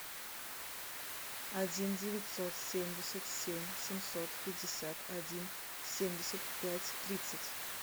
один девятьсот семьдесят семь семьсот пятьдесят один семьдесят пять тридцать